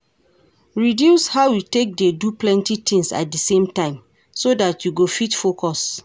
Reduce how you take dey do plenty things at di same time so dat you go fit focus